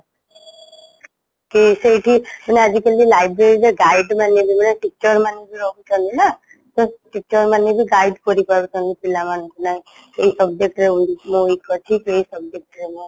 କି ସେଇଠି ମାନେ ଆଜି କଲି library ରେ guide ମାନେ ମାନେ teacher ମାନେ ରହୁଛନ୍ତି ନା ତ teacher ମାନେବି guide କରିପାରୁଛନ୍ତି ପିଲା ମାନଙ୍କୁ ନାଇଁ subject ରେ ଏଇ ପିଲା weak ଅଛି ଏଈ subject ରେ ମୁଁ